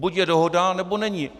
Buď je dohoda, nebo není.